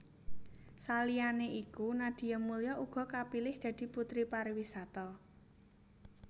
Saliyané iku Nadia Mulya uga kapilih dadi Puteri Pariwisata